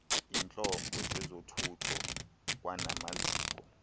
iintlobo zezothutho kwanamaziko